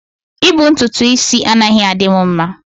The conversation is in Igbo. I bu ntutu is anaghi adimu mma.